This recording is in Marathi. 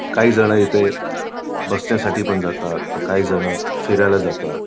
काहीजण इथे बसण्यासाठी पण जातात तर काही जण फिरायला जातात.